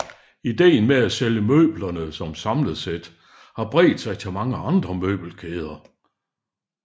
Idéen med at sælge møblerne som samlesæt har bredt sig til mange andre møbelkæder